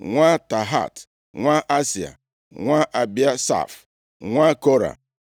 nwa Tahat, nwa Asịa, nwa Ebiasaf, nwa Kora,